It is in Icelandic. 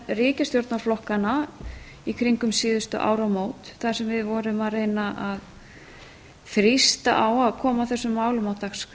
ríkisstjórnarflokkanna í kringum síðustu áramót þar sem við vorum að vegna að þrýsta á að koma þessum málum á dagskrá